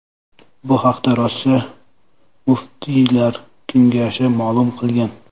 Bu haqda Rossiya muftiylar kengashi ma’lum qilgan .